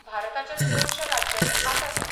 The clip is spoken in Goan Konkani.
भारताच्या चडश्या राज्यांनी आसा तें.